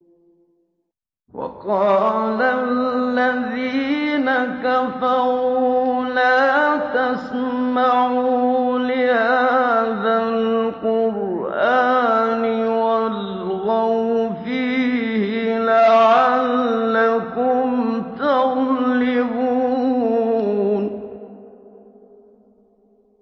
وَقَالَ الَّذِينَ كَفَرُوا لَا تَسْمَعُوا لِهَٰذَا الْقُرْآنِ وَالْغَوْا فِيهِ لَعَلَّكُمْ تَغْلِبُونَ